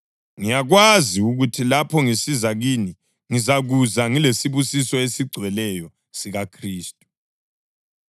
Ngiyakwazi ukuthi lapho ngisiza kini, ngizakuza ngilesibusiso esigcweleyo sikaKhristu.